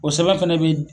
O sɛbɛn fana bɛ